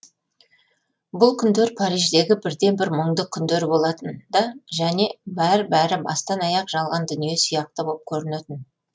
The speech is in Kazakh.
бұл күндер париждегі бірден бір мұңды күндер болатын да және бәр бәрі бастан аяқ жалған дүние сияқты боп көрінетін